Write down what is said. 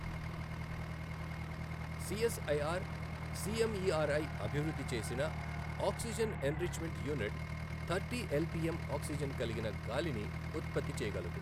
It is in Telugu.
సిఎస్ఐఆర్ సిఎంఇఆర్ఐ అభివృద్ధి చేసిన oxygen enrichment unit thirty LPM oxygen కలిగిన గాలిని ఉత్పత్తి చేయగలదు.